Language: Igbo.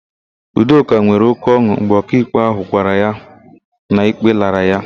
Udoka nwere oke ọn̄ụ mgbe ọkaikpe ahụ gwara ya na ikpe lara ya.